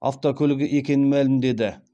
автокөлігі екенін мәлімдеді